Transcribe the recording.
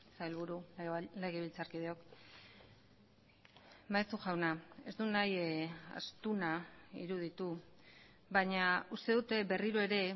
sailburu legebiltzarkideok maeztu jauna ez dut nahi astuna iruditu baina uste dut berriro ere